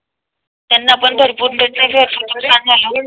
त्यांना पण भरपूर